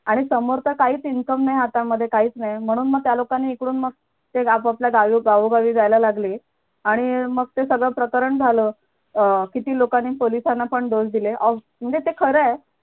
आणि समोरचा काहीच income नाही हातामध्ये काहीच नाही म्हणून मग त्यालोकांनी इकडून मग ते आपापल्या गावोगावी जायला लागले आणि मग ते सगळं प्रकरण झाल अं किती लोकांनी पोलिसांना पण ढोस दिले म्हणजे ते खरंय